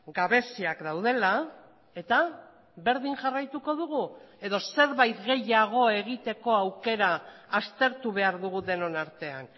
gabeziak daudela eta berdin jarraituko dugu edo zerbait gehiago egiteko aukera aztertu behar dugu denon artean